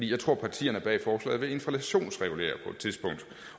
jeg tror at partierne bag forslaget vil inflationsregulere